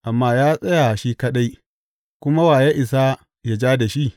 Amma ya tsaya shi kaɗai, kuma wa ya isa yă ja da shi?